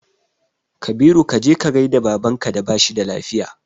Kabiru kaje ka gaida baban ka da bashi da lafiya